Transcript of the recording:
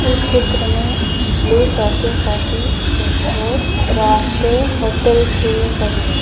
इस चित्र में blue Tokyo coffee restore rest hotel सभी हैं।